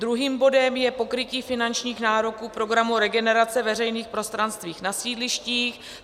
Druhým bodem je pokrytí finančních nároků programu Regenerace veřejných prostranství na sídlištích.